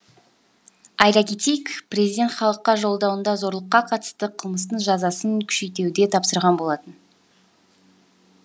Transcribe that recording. айта кетейік президент халыққа жолдауында зорлыққа қатысты қылмыстың жазасын күшейтуді тапсырған болатын